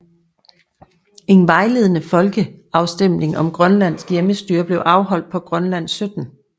En vejledende folkeafstemning om grønlandsk hjemmestyre blev afholdt på Grønland 17